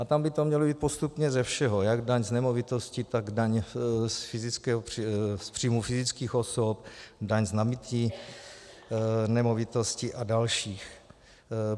A tam by to mělo být postupně ze všeho, jak daň z nemovitosti, tak daň z příjmu fyzických osob, daň z nabytí nemovitosti a další.